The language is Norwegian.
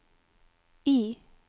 I